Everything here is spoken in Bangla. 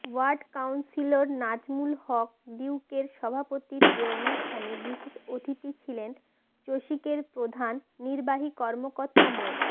ওয়ার্ড কাউন্সিলর নাজমুল হক ডিউকের সভাপতিত্বে অনুষ্ঠানে বিশেষ অতিথি ছিলেন চসিকের প্রধান নির্বাহী কর্মকর্তা মো